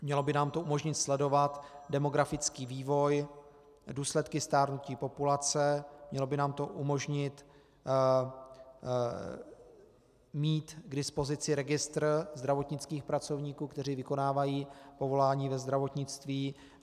Mělo by nám to umožnit sledovat demografický vývoj, důsledky stárnutí populace, mělo by nám to umožnit mít k dispozici registr zdravotnických pracovníků, kteří vykonávají povolání ve zdravotnictví.